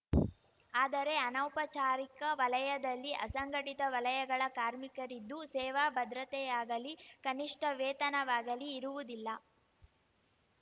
ಆದರೆ ಅನೌಪಚಾರಿಕ ವಲಯದಲ್ಲಿ ಅಸಂಘಟಿತ ವಲಯಗಳ ಕಾರ್ಮಿಕರಿದ್ದು ಸೇವಾ ಭದ್ರತೆಯಾಗಲಿ ಕನಿಷ್ಠ ವೇತನವಾಗಲೀ ಇರುವುದಿಲ್ಲ